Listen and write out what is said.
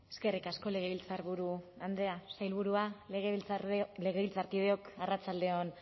eskerrik asko legebiltzarburu andrea sailburua legebiltzarkideok arratsalde on